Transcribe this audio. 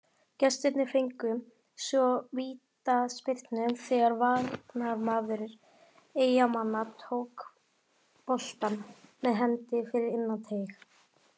Gestirnir fengu svo vítaspyrnu þegar varnarmaður Eyjamanna tók boltann með hendi fyrir innan teig.